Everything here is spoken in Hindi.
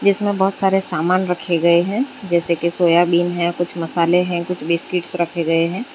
इसमें बहोत सारे सामान रखे गए हैं जैसे की सोयाबीन है कुछ मसाले हैं कुछ बिस्किट्स रखे गए हैं।